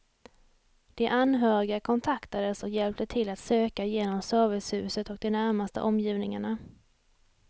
De anhöriga kontaktades och hjälpte till att söka igenom servicehuset och de närmaste omgivningarna.